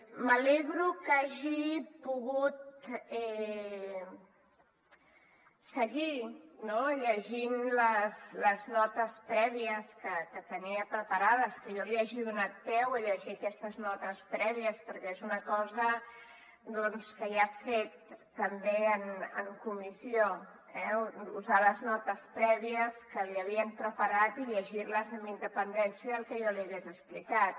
m’alegro que hagi pogut seguir no llegint les notes prèvies que tenia prepara des que jo li hagi donat peu a llegir aquestes notes prèvies perquè és una cosa doncs que ja ha fet també en comissió eh usar les notes prèvies que li havien preparat i llegir les amb independència del que jo li hagués explicat